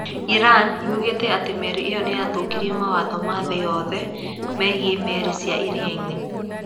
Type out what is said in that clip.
Iran yugĩte atĩ meri ĩyo "nĩ yathũkirie mawatho ma thĩ yothe megiĩ meri cia iria-inĩ".